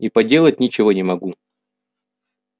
и поделать ничего не могу